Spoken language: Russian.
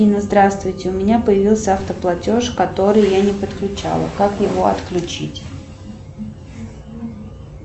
афина здравствуйте у меня появился автоплатеж который я не подключала как его отключить